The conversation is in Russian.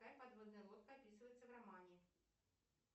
какая подводная лодка описывается в романе